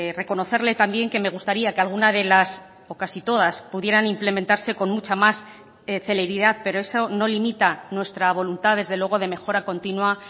reconocerle también que me gustaría que alguna de las o casi todas pudieran implementarse con mucha más celeridad pero eso no limita nuestra voluntad desde luego de mejora continua